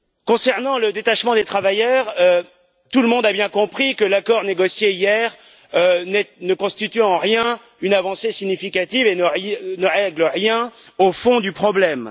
Concernant le détachement des travailleurs, tout le monde a bien compris que l'accord négocié hier ne constitue en rien une avancée significative et ne règle rien au fond du problème.